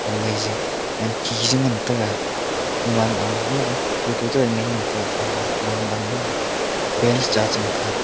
o maiji wankhi ji ngan taiga gaman ama maga photo che meen ngan tega kawma wall ma maga bench cha chengan taiga.